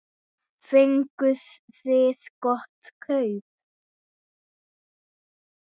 Fenguð þið gott kaup?